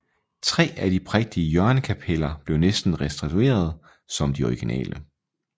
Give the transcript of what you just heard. Tre af de prægtige hjørnekapeller blev næsten restaureret som de originale